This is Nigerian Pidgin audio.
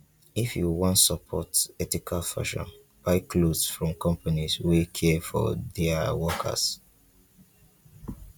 if you wan support ethical fashion buy cloth from companies wey care for dia workers.